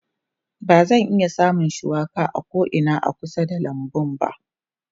Ba zan iya samun shuwaka a ko'ina a kusa da lambun ba.